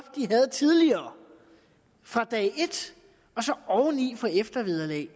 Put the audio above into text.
de havde tidligere fra dag et og så oven i få eftervederlag